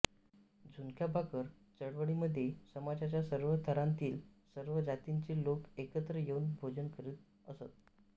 झुणकाभाकर चळवळीमध्ये समाज्याच्या सर्व थरांतील सर्व जातींचे लोक एकत्र येऊन भोजन करीत असत